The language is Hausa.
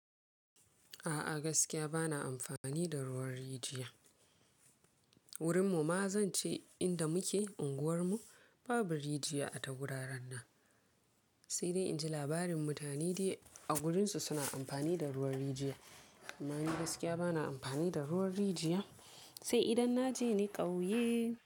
A'a gaskiya ba na amfani da ruwan rijiya. Wurin mu ma zan ce inda muke unguwar mu babu rijiya a tagura ran nan. Sai dai inji labarin mutane dai a wurinsu suna amfani da ruwan rijiya. Amma ni gaskiya ba na amfani da ruwan rijiya. Sai idan na je ni ƙauye.